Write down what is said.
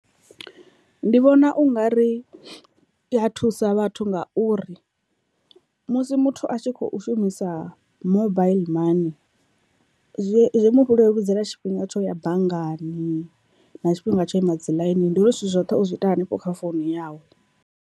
Ndi vhona ungari i ya thusa vhathu ngauri musi muthu a tshi khou shumisa mobaiḽi money zwi mu leludzela tshifhinga tsho ya banngani, na tshifhinga tsho ima dzi ḽainini ndi uri zwithu zwoṱhe uzwi ita hanefho kha founu yawe.